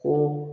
Ko